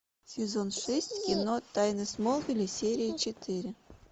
сезон шесть кино тайны смолвиля серия четыре